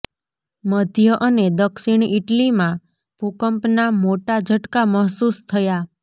મધ્ય અને દક્ષિણ ઈટલીમાં ભૂકંપના મોટા ઝટકા મહસૂસ થયા